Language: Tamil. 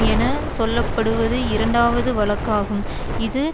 என சொல்ல படுவது இரண்டாவது வழக்காகும் இது